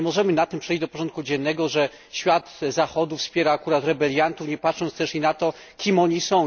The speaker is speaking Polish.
Nie możemy nad tym przejść do porządku dziennego, że świat Zachodu wspiera akurat rebeliantów, nie patrząc też i na to, kim oni są.